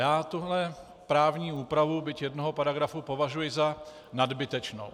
Já tuto právní úpravu, byť jednoho paragrafu, považuji za nadbytečnou.